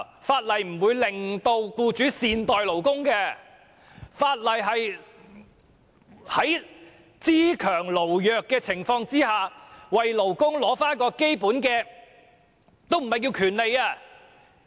法例並不會令僱主善待勞工，法例只是在"資強勞弱"的情況下為勞工取回基本的話語權而已。